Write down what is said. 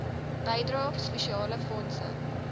bydrae spesiale fondse